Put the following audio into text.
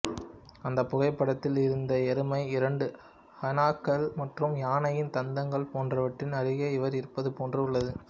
அந்த புகைப்படத்தில் இறந்த எருமை இரண்டு ஹைனாக்கள் மற்றும் யானையின் தந்தங்கள் போன்றவற்றின் அருகே இவர் இருப்பது போன்று உள்ளது